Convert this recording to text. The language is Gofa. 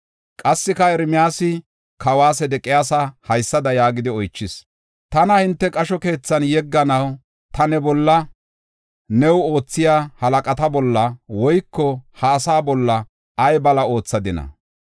Qassika Ermiyaasi kawa Sedeqiyaasa haysada yaagidi oychis: “Tana hinte qasho keethan yegganaw ta ne bolla, new oothiya halaqata bolla woyko ha asaa bolla ay bala oothadina?